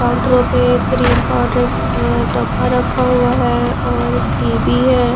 काउंटरों पे cream powder अ डब्बा रखा हुआ है और एक टी_वी है।